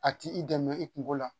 A ti i dɛmɛ i kungo la